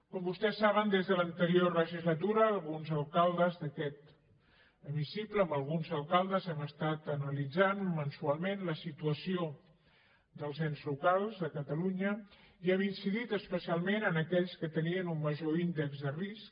com vostès saben des de l’anterior legislatura alguns alcaldes d’aquest hemicicle amb alguns alcaldes hem estat analitzant mensualment la situació dels ens locals a catalunya i hem incidit especialment en aquells que tenien un major índex de risc